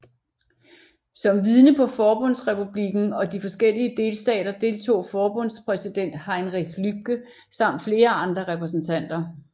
Som vidne på Forbundsrepublikken og de forskellige delstater deltog forbundspræsident Heinrich Lübke samt flere andre repræsentanter